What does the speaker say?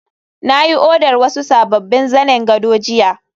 na yi odar wasu sabbin zanen gado jiya